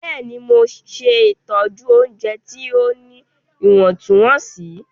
Bẹ́ẹ̀ni, Mo ṣẹtọju ọunjẹ ti o ní iwọntunwọnsí.